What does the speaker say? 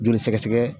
Joli sɛgɛsɛgɛ